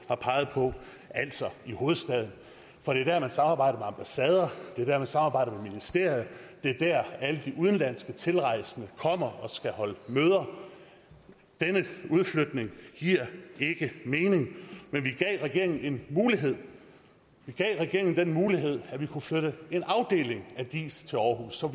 har peget på altså i hovedstaden for det er der man samarbejder med ambassader det er der man samarbejder med ministerier det er der alle de udenlandske tilrejsende kommer og skal holde møder denne udflytning giver ikke mening men vi gav regeringen en mulighed vi gav regeringen den mulighed at man kunne flytte en afdeling af diis til aarhus så